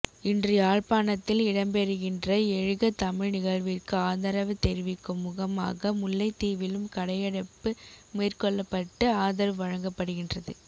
இன்று யாழ்ப்பாணத்தில் இடம்பெறுகின்ற எழுக தமிழ் நிகழ்விற்கு ஆதரவு தெரிவிக்கும் முகமாக முல்லைத்தீவிலும் கடையடைப்பு மேற்கொள்ளப்பட்டு ஆதரவு வழங்கப்படுகின்றது